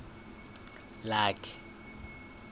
lakhe